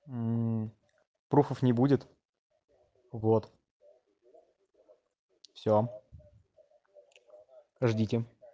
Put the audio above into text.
пруфов не будет вот все ждите